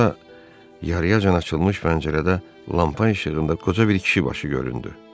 Sonra yarıyacan açılmış pəncərədə lampa işığında qoca bir kişi başı göründü.